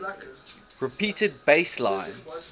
repeated bass line